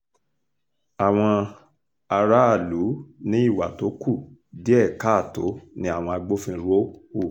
àwọn aráàlú ní ìwà tó kù díẹ̀ káàtó ni àwọn agbófinró hù